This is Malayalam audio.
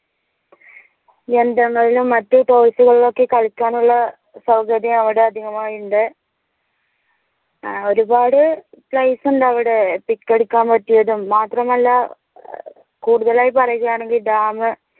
യന്ത്രങ്ങളിലും മറ്റ് toys ഉകളിലൊക്കെ കളിക്കാൻ ഉള്ള സൗകര്യം അവിടെ അധികമായി ഉണ്ട് ഏർ ഒരുപാട് place ഇണ്ട് അവടെ pic എടുക്കാൻ പറ്റിയതും മാത്രമല്ല ഏർ കൂടുതലായി പറയുകയാണെങ്കി dam